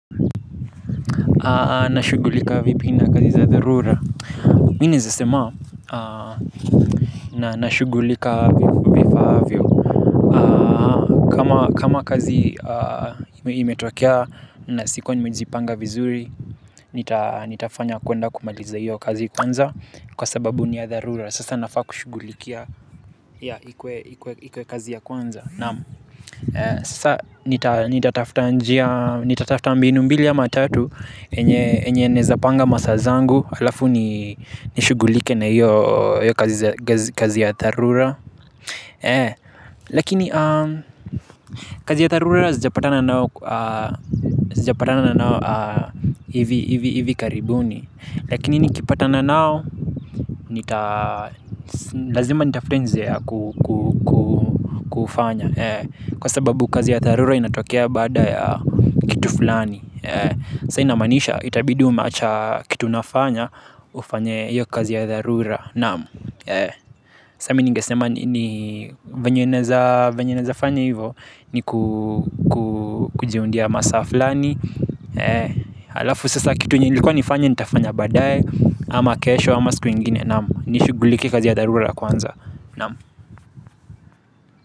Na shughulika vipi na kazi za dharura. Mi naeza sema na nashughulika vifaavyo. Kama kazi imetokea na sikuwa nimejipanga vizuri. Nitafanya kwenda kumaliza hiyo kazi kwanza kwa sababu ni ya dharura. Sasa nafaa kushughulikia ikuwe kazi ya kwanza, naam. Sasa nitatafuta mbinu mbili ama tatu venye naeza panga masaa zangu halafu nishughulike na hiyo kazi kazi ya dharura. Lakini kazi ya dharura zijapatana nayo hivi karibuni. Lakini nikipatana nao lazima nitafute njia ya kufanya. Kwa sababu kazi ya dharura inatokea baada ya kitu fulani. Sa inamaanisha itabidi umeacha kitu unafanya ufanye hiyo kazi ya dharura, naam. Sa mini ningesema ni vyenye naeza fanya hivo ni kujiundia masaa fulani halafu sasa kitu nilikuwa nifanye nitafanya baadae ama kesho ama siku ingine naam. Nishughulikie kazi ya dharura kwanza. Naam.